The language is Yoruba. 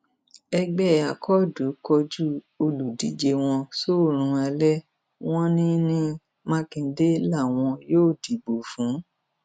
ẹgbẹ akọọdù kọjú olùdíje wọn sóòrùn alẹ wọn ní ní mákindé làwọn yóò dìbò fún